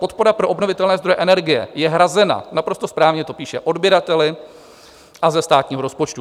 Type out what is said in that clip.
Podpora pro obnovitelné zdroje energie je hrazena - naprosto správně to píše - odběrateli a ze státního rozpočtu.